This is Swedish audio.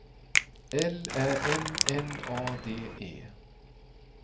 L Ä M N A D E